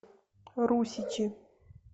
русичи